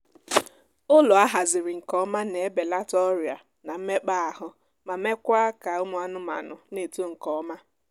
ụlọ ahaziri nke ọma na ebelata ọrịa na mmekpaahụ ma meekwaa ka ụmụ anmaanụ na-eto nkeọma